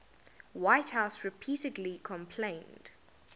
whitehouse repeatedly complained